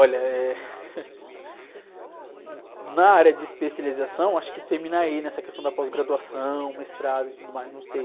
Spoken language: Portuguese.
Olha, eh, na área de especialização, acho que termina aí essa questão da pós-graduação, mestrado e tudo mais, não sei.